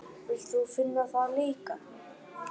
Vilt þú finna það líka?